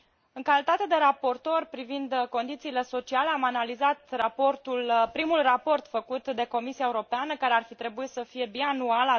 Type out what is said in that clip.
În calitate de raportor privind condițiile sociale, am analizat primul raport făcut de Comisia Europeană, care ar fi trebuit să fie bianual